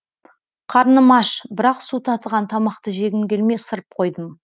қарным аш бірақ су татыған тамақты жегім келмей ысырып қойдым